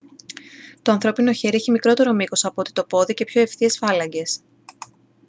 το ανθρώπινο χέρι έχει μικρότερο μήκος από ό,τι το πόδι και πιο ευθείες φάλαγγες